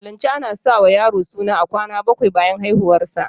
A musulunce a na sa wa yaro suna kwana baƙwai bayan haihuwar sa